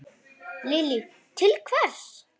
Lillý: Til hvers?